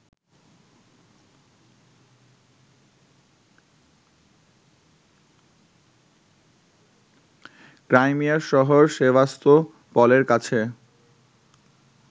ক্রাইমিয়ার শহর সেভাস্তোপলের কাছে